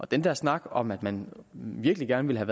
den der snak om at man virkelig gerne ville